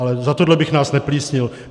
Ale za tohle bych nás neplísnil.